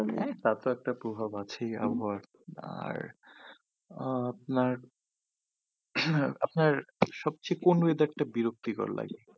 হ্যাঁ তা তো একটা প্রভাব আছেই আবহাওয়ার আর আহ আপনার আপনার সবচেয়ে কোন weather টা বিরক্তিকর লাগে?